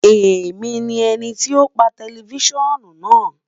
Emi ni ẹniti o pa tẹlifisiọnu naa